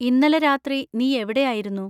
ഇന്നലെ രാത്രി നീ എവിടെ ആയിരുന്നു?